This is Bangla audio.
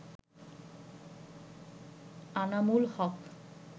আনামুল হক